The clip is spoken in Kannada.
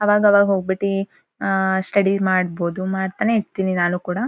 ಅವಾಗ್ ಅವಾಗ್ ಹೋಗ್ಬಿಟ್ಟಿ ಆಹ್ಹ್ ಸ್ಟಡಿ ಮಾಡಬೋದು ಮಾಡತಾನೆ ಇರ್ತಿನಿ ನಾನು ಕೂಡ.